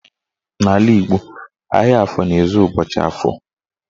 N'ala Igbo, ahịa afọ na-ezu ụbọchị Afọ